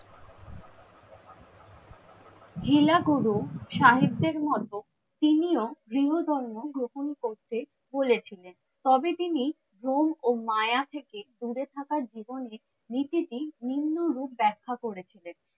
হিলা গুরু সাহিত্যের মতো তিনিও গৃহ ধর্ম গ্রহন করতে বলেছিলেন। তবে তিনি ভ্রম ও মায়া থেকে দূরে থাকা জীবন নীতিটি নিম্ন রূপ ব্যাখ্যা করেছিলেন।